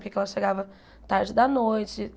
Por que é que ela chegava tarde da noite?